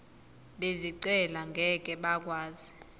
bezicelo ngeke bakwazi